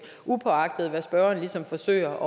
uagtet at spørgeren ligesom forsøger